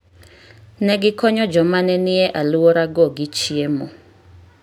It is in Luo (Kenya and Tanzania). Ne gikonyo joma ne nie alworago gi chiemo.